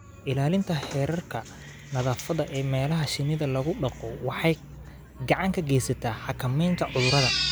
Ilaalinta heerarka nadaafadda ee meelaha shinnida lagu dhaqo waxay gacan ka geysataa xakameynta cudurrada.